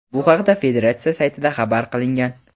Bu haqda federatsiya saytida xabar qilingan.